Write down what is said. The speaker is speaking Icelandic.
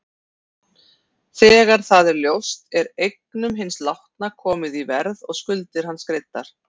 Þegar það er ljóst er eignum hins látna komið í verð og skuldir hans greiddar.